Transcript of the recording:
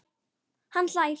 Hann hlær.